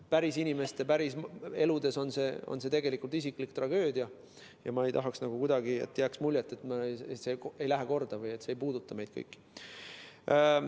Päris inimeste päris elus on see tegelikult isiklik tragöödia ja ma ei tahaks kuidagi, et jääks muljet, nagu see ei läheks korda või see ei puudutaks meid kõiki.